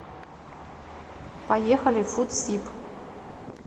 поехали фудсиб